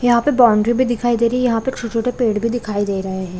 यहाँ पे बाउंड्री भी दिखाई दे रही है यहाँ पे छोटे-छोटे पेड़ भी दिखाई दे रहे हैं ।